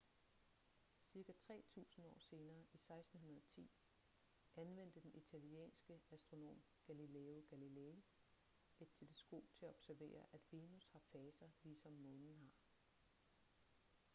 cirka tre tusinde år senere i 1610 anvendte den italienske astronom galileo galilei et teleskop til at observere at venus har faser ligesom månen har